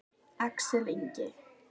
Axel Ingi.